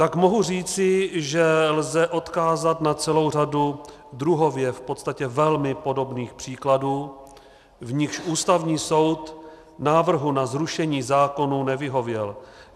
Tak mohu říci, že lze odkázat na celou řadu druhově v podstatě velmi podobných příkladů, v nichž Ústavní soud návrhu na zrušení zákonů nevyhověl.